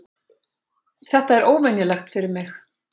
Þetta er óvenjulegt fyrir mig.